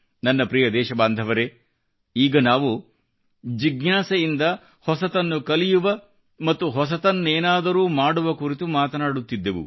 ನನ್ನ ಪ್ರಿಯ ದೇಶ ಬಾಂಧವರೇ ಈಗ ನಾವು ಜಿಜ್ಞಾಸೆಯಿಂದ ಹೊಸತನ್ನು ಕಲಿಯುವ ಮತ್ತು ಹೊಸತ್ನೇನಾದರೂ ಮಾಡುವ ಕುರಿತು ಮಾತನಾಡುತ್ತಿದ್ದೆವು